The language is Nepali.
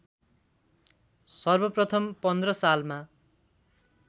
सर्वप्रथम ०१५ सालमा